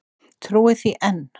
Trúi því enn!